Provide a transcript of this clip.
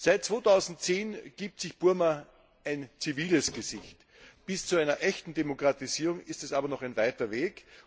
Seit 2010 gibt sich Burma ein ziviles Gesicht. Bis zu einer echten Demokratisierung ist es aber noch ein weiter Weg.